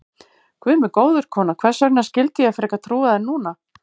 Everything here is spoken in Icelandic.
Guð minn góður, kona, hvers vegna skyldi ég frekar trúa þér núna?